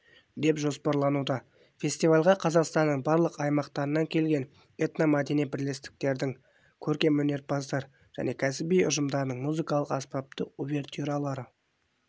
деп жоспарлануда фестивальға қазақстанның барлық аймақтарынан келген этномәдени бірлестіктердің көркемөнерпаздар және кәсіби ұжымдарының музыкалық-аспаптық увертюралары